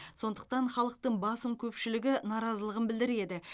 сондықтан халықтың басым көпшілігі наразылығын білдіреді